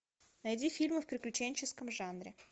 найди фильмы в приключенческом жанре